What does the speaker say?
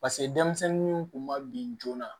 Paseke denmisɛnninw kun ma bin joona